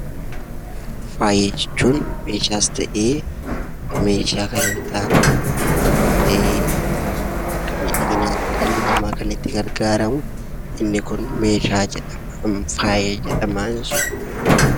Faaya jechuun meeshaas ta'ee meeshaa kan hin taane akka miidhaginaatti dhalli namaa kan itti gargaaramu inni kun meeshaa jedhama faaya jedhama jechuudha.